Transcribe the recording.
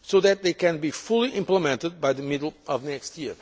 so that they can be fully implemented by the middle of next year.